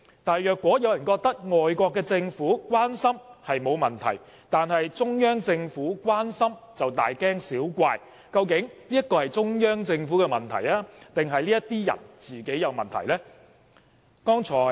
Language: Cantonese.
但是，如果有人覺得外國政府關心並無問題，但對中央政府的關心卻大驚小怪，究竟這是中央政府的問題還是這些人本身有問題？